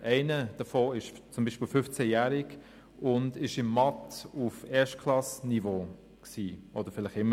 Einer davon ist 15-jährig und war in Mathematik auf dem Niveau der ersten Klasse – und ist es vielleicht noch immer.